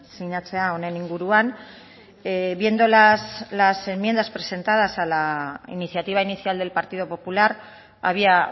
sinatzea honen inguruan viendo las enmiendas presentadas a la iniciativa inicial del partido popular había